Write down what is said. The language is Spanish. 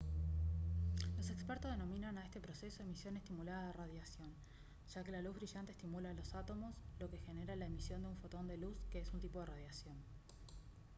los expertos denominan a este proceso «emisión estimulada de radiación» ya que la luz brillante estimula a los átomos lo que genera la emisión de un fotón de luz que es un tipo de radiación